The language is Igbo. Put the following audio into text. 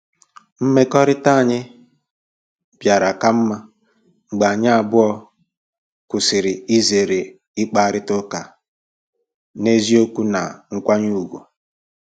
Mmekọrịta anyị bịara ka mma mgbe anyị abụọ kwụsịrị izere ịkparịta ụka n'eziokwu na nkwanye ùgwù.